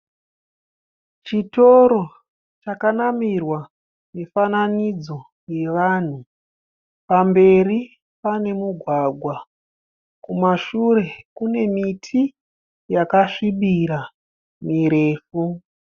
Chitoro chakanamirwa mifananidzo yevanhu. Pamberi pane mugwagwa, kumashure kune miti yakasvibira mirefu